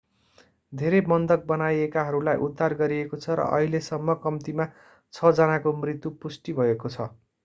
धेरै बन्धक बनाइएकाहरूलाई उद्धार गरिएको छ र अहिलेसम्म कम्तिमा छ जनाको मृत्यु पुष्टि भएको छ